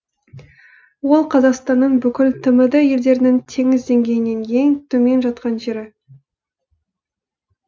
ол қазақстанның бүкіл тмд елдерінің теңіз деңгейінен ең төмен жаткан жері